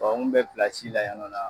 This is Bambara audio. n kun bɛ pilasi la yan nɔn na.